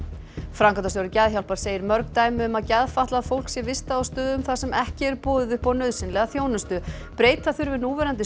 framkvæmdastjóri Geðhjálpar segir mörg dæmi um að geðfatlað fólk sé vistað á stöðum þar sem ekki er boðið upp á nauðsynlega þjónustu breyta þurfi núverandi